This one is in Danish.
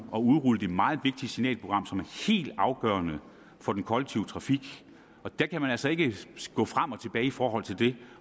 at udrulle det meget vigtige signalprogram som er helt afgørende for den kollektive trafik og der kan man altså ikke gå frem og tilbage i forhold til det